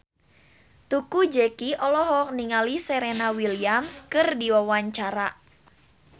Teuku Zacky olohok ningali Serena Williams keur diwawancara